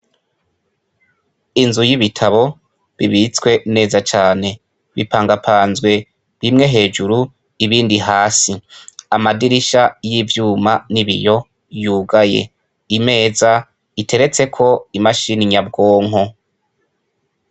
Inzu y' ibitabo bibitswe neza cane bipangapanzwe hejuru ibindi hasi amadirisha y' ivyula n' ibiyo yugaye imeza iteretseko imashini nyabwonko.